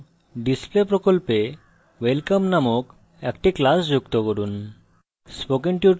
এবং display প্রকল্পে welcome নামক একটি class যুক্ত করুন